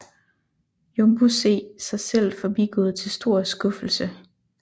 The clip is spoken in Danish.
Jumbo se sig selv forbigået til stor skuffelse